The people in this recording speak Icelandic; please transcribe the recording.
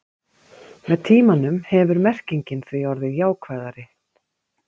Með tímanum hefur merkingin því orðið jákvæðari.